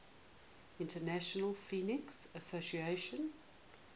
international phonetic association